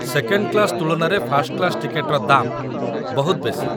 Second class ତୁଳନାରେ first class ଟିକେଟ୍‌ର ଦାମ୍ ବହୁତ ବେଶି ।